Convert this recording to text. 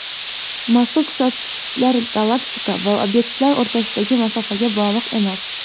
Mazkur ko‘rsatkichlar galaktika va obyektlar o‘rtasidagi masofaga bog‘liq emas.